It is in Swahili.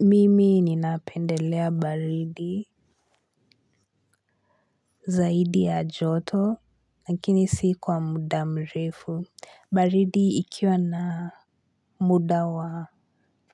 Mimi ninapendelea baridi zaidi ya joto lakini si kwa muda mrefu baridi ikiwa na muda wa